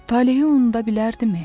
Talehi unuda bilərdimi?